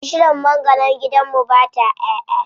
Bishiyar mangwaron gidan mu ba ta ƴaʼƴa.